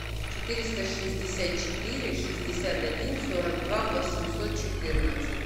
четыреста шестьдесят четыре шестьдесят один сорок два восемьсот четырнадцать